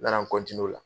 N nana o la